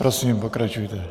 Prosím, pokračujte.